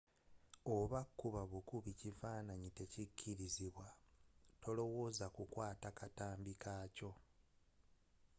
oba okukuba obukubi ekifananyi tekukkirizibwa tolowooza ku kukwata katambi kaakyo